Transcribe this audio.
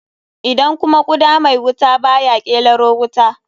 Idan kuma guda mai wuta baya ƙelaro wuta?